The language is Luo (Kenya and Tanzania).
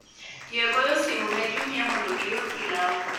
yie goyo simu ne jumia mondo ior pilau